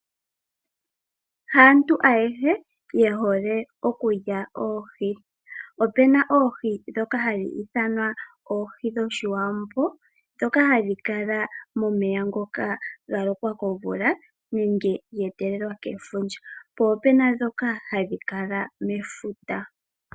Haantu ayehe yehole okulya oohi. Opuna oohi ndhoka hadhi ithanwa oohi dhoshiwambo ndhoka hadhi kala momeya ngoka ga lokwa komvula nenge ge etelelwa kefundja po opuna ndhoka hadhi kala mefuta.